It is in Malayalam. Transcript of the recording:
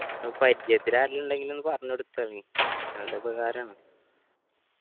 പരിജയത്തിൽ ആരെങ്കിലും ഇണ്ടെങ്കിൽ ഒന്ന് പറഞ്ഞോടുത്തെ നീ നല്ല ഉപകാരാണ്